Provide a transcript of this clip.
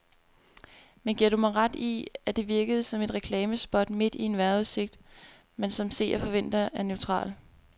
Men giver du mig ret i, at det virkede som et reklamespot midt i en vejrudsigt, man som seer forventer er neutral.